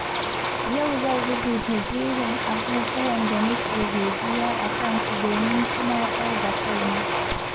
Yau zan rubuta jerin abubuwan da nake godiya a kansu domin tunatar da kaina.